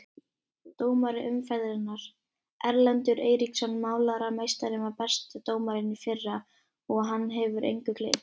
Dómari umferðarinnar: Erlendur Eiríksson Málarameistarinn var besti dómarinn í fyrra og hann hefur engu gleymt.